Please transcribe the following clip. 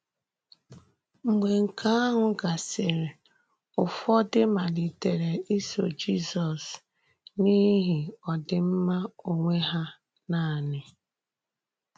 Mgbe nke ahụ gàsịrị, Ụ́fọ̀dị̀ malìtèrè ísò Jizọs n’íhì òdìm̀má onwe hà nanị.